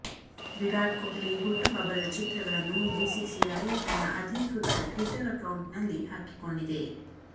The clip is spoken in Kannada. ವಿರಾಟ್ ಕೊಹ್ಲಿ ಹುಟ್ಟುಹಬ್ಬದ ಚಿತ್ರಗಳನ್ನು ಬಿಸಿಸಿಐ ತನ್ನ ಅಧಿಕೃತ ಟ್ವಿಟರ್ ಅಕೌಂಟ್ ನಲ್ಲಿ ಹಾಕಿಕೊಂಡಿದೆ